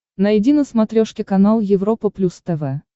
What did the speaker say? найди на смотрешке канал европа плюс тв